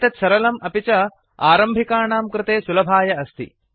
एतत् सरलम् अपि च आरम्भिकाणां कृते सुलभाय अस्ति